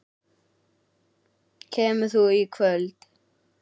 Kemur þú í kvöld?